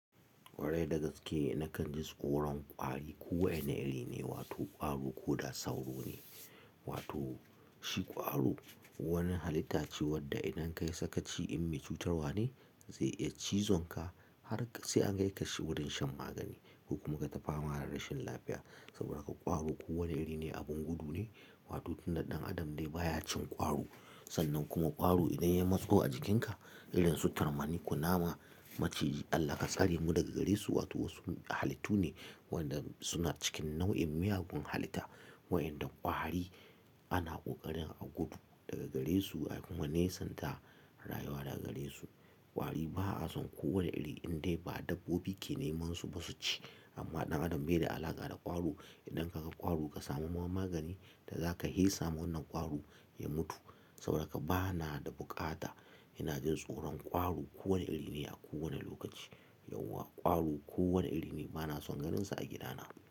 Kwarai dagaske na kan jin tsoron kwari. Kowa yanayi ne wato kwaro ko da sauro ne. Wato shi kwaro wani halitta ce wadda idan ka yi saka ci, in mai cutarwane zai iya cizon ka har sai an kai ka wurin shan magani. Ko kuma kai ta fama rashin lafiya saboda ka kwaro. Kowane iri ne abun gudu ne, wato tunda ɗan adam de baya cin kwaro. Sannan kuma kwaro idan ya matsu a jikinka, irin su tarmani. Kunama maciji Allah kasare mu daga gare su, wato wasu halittu ne wadda suna cikin nau'in miyagun halitta. Wayanda kwari ana kokarin a gudu daga gare su akuma nesanta rayuwa daga gare su. Kwari ba a son kowane iri, in dai ba dabbobi ke neman su ba su ci. Amma ɗan adam bai da alaƙa da kwaro. Idan ka ga kwaro ka samu ma magani da za ka yi, hesa wannan kwaron ya mutu saboda ka ba na da buƙata. Ina jin tsoron kwaro, kowane iri ne a kowane lokaci. Yauwa kwaro kowane iri ne bana son ganinsa a gidana.